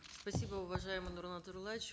спасибо уважаемый нурлан зайроллаевич